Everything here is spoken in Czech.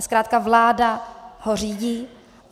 A zkrátka vláda ho řídí.